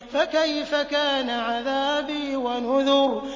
فَكَيْفَ كَانَ عَذَابِي وَنُذُرِ